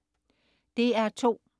DR2: